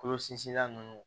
Kolo sinsinla ninnu